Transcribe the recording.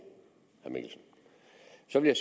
så vil